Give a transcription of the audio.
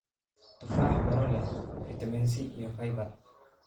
Tufaax: Miro leh fiitamiin C iyo fiber.